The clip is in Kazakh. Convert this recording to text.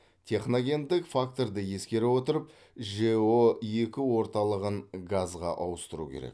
техногендік факторды ескере отырып жэо екі орталығын газға ауыстыру керек